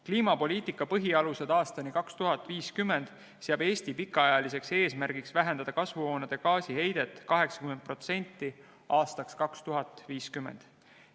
"Kliimapoliitika põhialused aastani 2050" seab Eesti pikaajaliseks eesmärgiks vähendada kasvuhoonegaaside heidet 2050. aastaks 80%.